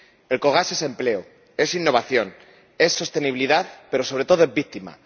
Elcogas es empleo, es innovación, es sostenibilidad, pero, sobre todo, es víctima.